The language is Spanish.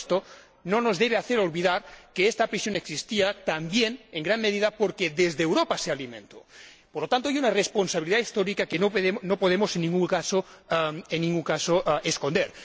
Pero esto no nos debe hacer olvidar que esta prisión existía también en gran medida porque desde Europa se alimentó. Por lo tanto, hay una responsabilidad histórica que no podemos en ningún caso esconder.